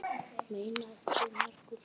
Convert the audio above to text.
Mein af því margur hlýtur.